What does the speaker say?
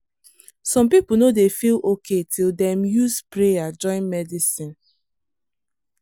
some people no dey feel okay till dem use prayer join medicine.